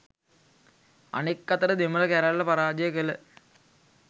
අනෙක් අතට දෙමළ කැරැල්ල පරාජය කළ